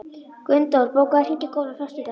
Gunndór, bókaðu hring í golf á föstudaginn.